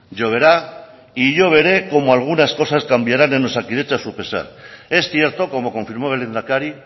lloverá y yo veré cómo algunas cosas cambiarán en osakidetza a su pesar es cierto como confirmó el lehendakari